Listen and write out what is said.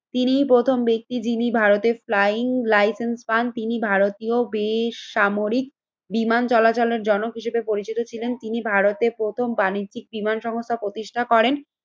তিনি প্রথম ব্যক্তি যিনি ভারতের ফ্লাইং লাইসেন্স পান তিনি ভারতীয় বেশ সামরিক বিমান চলাচলের জনক হিসেবে পরিচিত ছিলেন। তিনি ভারতে প্রথম বাণিজ্যিক বিমান সংস্থা প্রতিষ্ঠা করেন